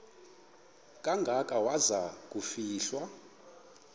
kangaka waza kufihlwa